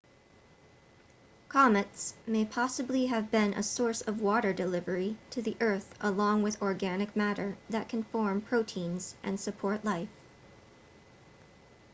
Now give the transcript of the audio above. comets may possibly have been a source of water delivery to the earth along with organic matter that can form proteins and support life